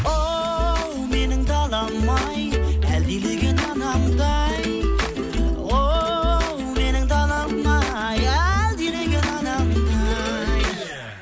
оу менің далам ай әлдилеген анамдай оу менің далам ай әлдилеген анамдай